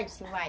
Eu disse, vai.